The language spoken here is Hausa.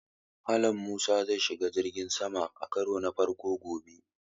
Mallam Musa zai shiga jirgin sama a karo na farko gobe